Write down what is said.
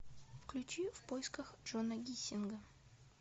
включи в поисках джона гиссинга